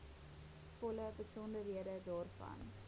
volle besonderhede daarvan